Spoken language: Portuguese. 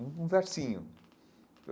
Um versinho.